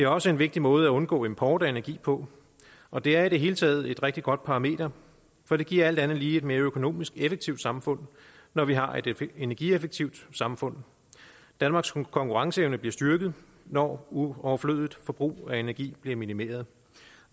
også en vigtig måde at undgå import af energi på og det er i det hele taget et rigtig godt parameter for det giver alt andet lige et mere økonomisk effektivt samfund når vi har et energieffektivt samfund danmarks konkurrenceevne bliver styrket når overflødigt forbrug af energi bliver minimeret